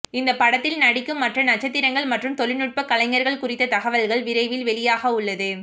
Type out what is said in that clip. இந்த படத்தில் நடிக்கும் மற்ற நட்சத்திரங்கள் மற்றும் தொழில்நுட்ப கலைஞர்கள் குறித்த தகவல்கள் விரைவில் வெளியாகவுள்ளது